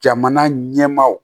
Jamana ɲɛmaaw